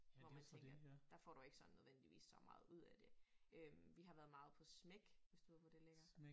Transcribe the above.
Hvor man tænker der får du ikke sådan nødvendigvis så meget ud af det. Øh vi har været meget på SMAEK hvis du ved hvor det ligger